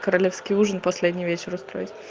королевский ужин последний вечер устроить